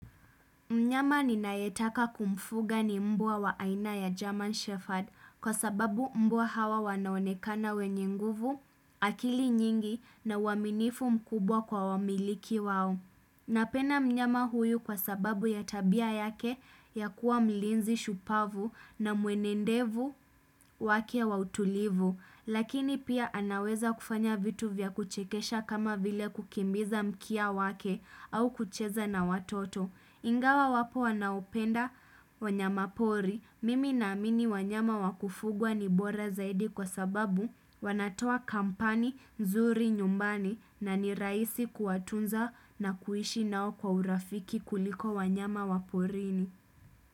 Mnyama ninaetaka kumfuga ni mbwa wa aina ya German Shepherd kwa sababu mbwa hawa wanaonekana wenye nguvu, akili nyingi na uaminifu mkubwa kwa wamiliki wao. Napenda mnyama huyu kwa sababu ya tabia yake ya kuwa mlinzi shupavu na mwenendevu wake wa utulivu, lakini pia anaweza kufanya vitu vya kuchekesha kama vile kukimbiza mkia wake au kucheza na watoto. Ingawa wapo wanaopenda wanyama pori, mimi naamini wanyama wa kufugwa ni bora zaidi kwa sababu wanatoa kampani nzuri nyumbani na ni rahisi kuwatunza na kuishi nao kwa urafiki kuliko wanyama wa porini.